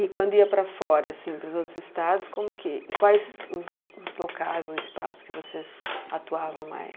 E quando ia para fora assim, dos outros estados como que, quais os os locais, os espaços que vocês atuavam mais?